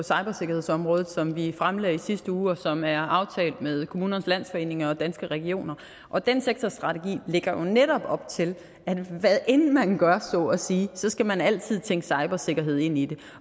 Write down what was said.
cybersikkerhedsområdet som vi fremlagde i sidste uge og som er aftalt med kommunernes landsforening og danske regioner og den sektorstrategi lægger jo netop op til at hvad end man gør så at sige så skal man altid tænke cybersikkerhed ind i det